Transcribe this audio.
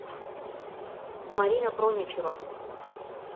марина проничева